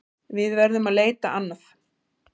Við verðum að leita annað.